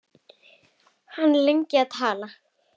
Hann er lengi að tala.